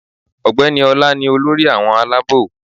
Ọ̀gbẹ́ni Ọla ni olórí àwọn alábò